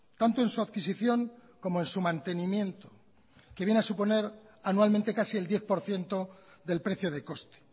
tanto en su adquisición como en su mantenimiento que viene a suponer anualmente casi el diez por ciento del precio de coste